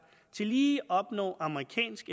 tillige opnår amerikansk